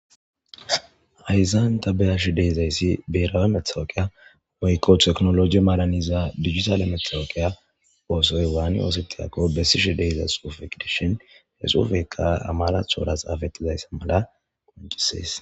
ayzanta beyashi deizayssi beerawe methawokiya woykqo teknologi maalaniza digitale methawookiya oosoy waani oosetiyako bessishi deezasufeq dishin hesufeka amarathora xaafettizayssa mala qoncisees